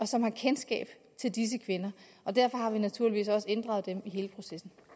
som har kendskab til disse kvinder og derfor har vi naturligvis også inddraget dem i hele processen